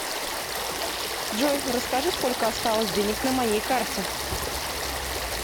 джой расскажи сколько осталось денег на моей карте